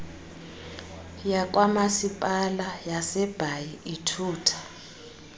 yakwamasipala wasebhayi ithutha